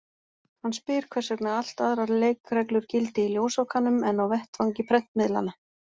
Hann spyr hvers vegna allt aðrar leikreglur gildi í ljósvakanum en á vettvangi prentmiðlanna.